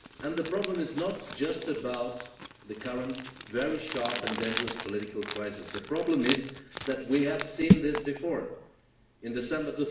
The problem is not just about the current, very sharp and dangerous crisis the problem is that we have seen this before, in December